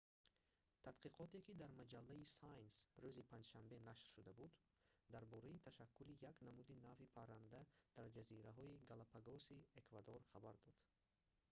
тадқиқоте ки дар маҷаллаи science рӯзи панҷшанбе нашр шуда буд дар бораи ташаккули як намуди нави парранда дар ҷазираҳои галапагоси эквадор хабар дод